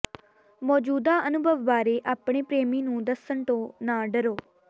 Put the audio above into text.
ਮੌਜੂਦਾ ਅਨੁਭਵ ਬਾਰੇ ਆਪਣੇ ਪ੍ਰੇਮੀ ਨੂੰ ਦੱਸਣ ਤੋਂ ਨਾ ਡਰੋ